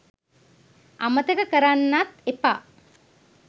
අමතක කරන්නත් එපා.